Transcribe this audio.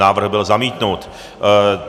Návrh byl zamítnut.